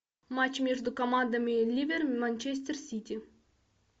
матч между командами ливер манчестер сити